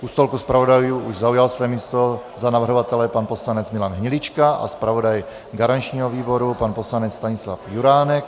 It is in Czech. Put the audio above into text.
U stolku zpravodajů už zaujal své místo za navrhovatele pan poslanec Milan Hnilička a zpravodaj garančního výboru pan poslanec Stanislav Juránek.